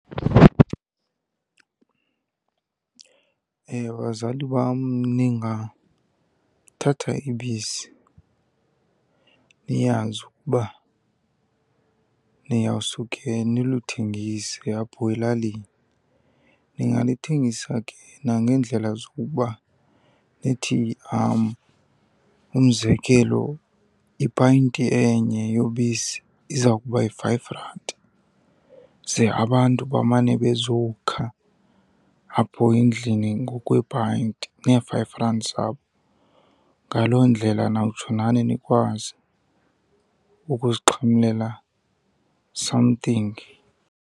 Bazali bam, ningathatha ibisi niyazi ukuba niyawusuke niluthengise apho elalini. Ningalithengisa ke nangeendlela zokokuba nithi , umzekelo, ipayinti enye yobisi iza kuba yi-five rand, ze abantu bamane bezowukha apho endlini ngokweepayinti nee-five rand zabo. Ngaloo ndlela nawutsho nani nikwazi ukuzixhamlela something.